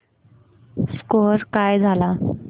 score काय झाला